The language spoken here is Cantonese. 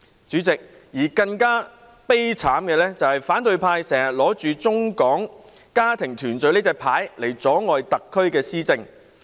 主席，更悲慘的是，反對派經常打着"中港家庭團聚"的牌子，阻礙特區的施政。